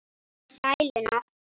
Og sæluna.